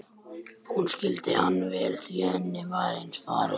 Hún skildi hann vel því henni var eins farið.